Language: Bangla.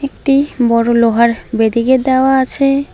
একটি বড় লোহার ব্যারিকেট দেওয়া আছে।